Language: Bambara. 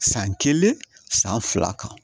San kelen san fila kan